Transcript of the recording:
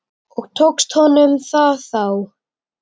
Og tókst honum það þá?